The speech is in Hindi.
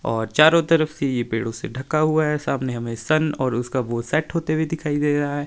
और चारों तरफ से ये पेड़ों से ढका हुआ है। सामने हमे सन और उसका वो सेट होते हुए दिखाई दे रहा है।